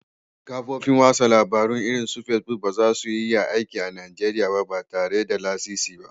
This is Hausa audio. Kafofin watsa labarun irin su Facebook ba za su iya aiki a Najeriya ba tare da lasisi ba